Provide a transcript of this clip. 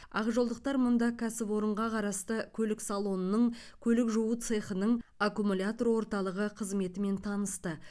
ақжолдықтар мұнда кәсіпорынға қарасты көлік салонының көлік жуу цехының аккумулятор орталығы қызметімен танысты